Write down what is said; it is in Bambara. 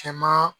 Cɛman